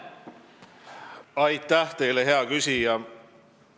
Aitäh teile, hea küsija!